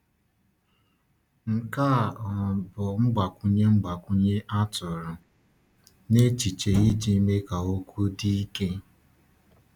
Nke a um bụ mgbakwunye mgbakwunye a tụrụ n’echiche iji mee ka okwu dị ike.